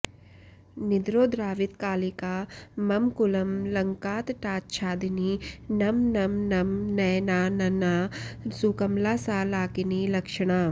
निद्रोद्रावितकालिका मम कुलं लङ्कातटाच्छादिनी नं नं नं नयनानना सुकमला सा लाकिनी लक्षणा